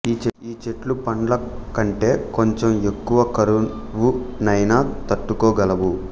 ఈ చెట్లు పండ్ల కంటే కొంచెం ఎక్కువ కరువునైన తట్టుకోగలవు